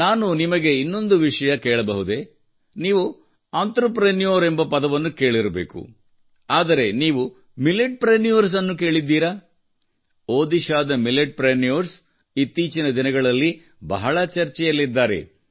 ನಾನು ನಿಮಗೆ ಇನ್ನೊಂದು ವಿಷಯ ಕೇಳಬಹುದೇ ನೀವು ಉದ್ಯಮಿ ಎಂಬ ಪದವನ್ನು ಕೇಳಿರಬೇಕು ಆದರೆ ನೀವು ಮಿಲೆಟ್ಪ್ರೆನ್ಯೂರ್ಸ್ ಅನ್ನು ಕೇಳಿದ್ದೀರಾ ಒಡಿಶಾದ ಮಿಲೆಟ್ಪ್ರೆನ್ಯೂರ್ಸ್ ಇತ್ತೀಚಿನ ದಿನಗಳಲ್ಲಿ ಬಹಳ ಚರ್ಚೆಯಲ್ಲಿದ್ದಾರೆ